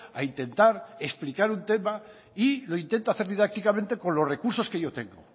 a intentar explicar un tema y lo intento hacer didácticamente con los recursos que yo tengo